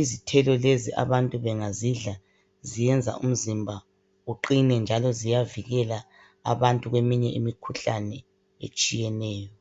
Izithelo lezi abantu bengazidla ziyenza umzimba uqine, njalo ziyavikela abantu kweminye imikhuhlane etshiyeneyo.